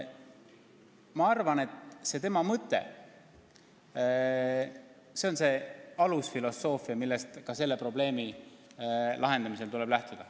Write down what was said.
Ma arvan, et see mõte võiks olla alusfilosoofia, millest ka selle probleemi lahendamisel tuleks lähtuda.